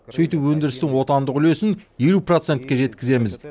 сөйтіп өндірістің отандық үлесін елу процентке жеткіземіз